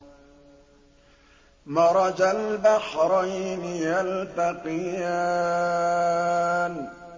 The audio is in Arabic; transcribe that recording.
مَرَجَ الْبَحْرَيْنِ يَلْتَقِيَانِ